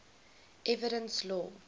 evidence law